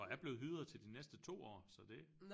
Og er blevet hyret til de næste 2 år så det